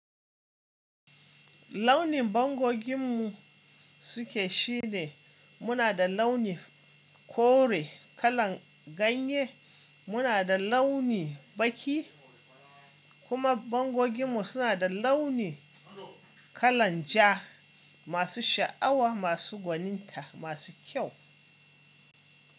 Launin bangogin mu suke shi ne muna da launi kore kalan ganye, muna da launi baki kuma bangogin mu suna da launi kalan ja masu sha'awa, masu gwaninta, masu kyau.